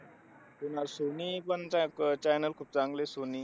ते ना सोनी पण चा channel खूप चांगला आहे. सोनी,